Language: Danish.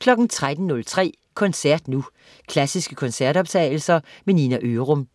13.03 Koncert nu. Klassiske koncertoptagelser. Nina Ørum